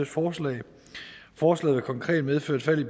forslag forslaget vil konkret medføre et fald i